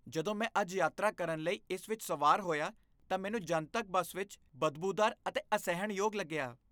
ਜਦੋਂ ਮੈਂ ਅੱਜ ਯਾਤਰਾ ਕਰਨ ਲਈ ਇਸ ਵਿੱਚ ਸਵਾਰ ਹੋਇਆ ਤਾਂ ਮੈਨੂੰ ਜਨਤਕ ਬੱਸ ਵਿੱਚ ਬਦਬੂਦਾਰ ਅਤੇ ਅਸਹਿਣਯੋਗ ਲੱਗਿਆ।